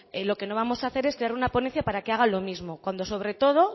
lo que no vamos a hacer es crear una ponencia para que haga lo mismo cuando sobre todo